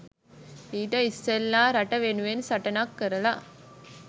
ඊට ඉස්සෙල්ලා රට වෙනුවෙන් සටනක් කරලා